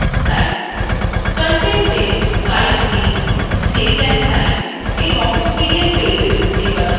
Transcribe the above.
contentএ slide name date and time এবং hidden pages নির্বাচন করুন